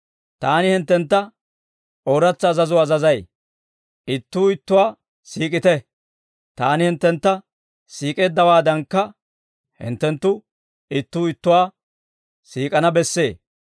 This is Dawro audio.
Taani hinttentta ooratsa azazuwaa azazay; ittuu ittuwaa siik'ite. Taani hinttentta siik'eeddawaadankka, hinttenttu ittuu ittuwaa siik'ana bessee.